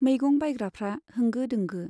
मैगं बाइग्राफ्रा होंगो दोंगो